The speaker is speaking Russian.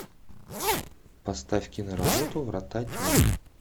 поставь киноработу врата тьмы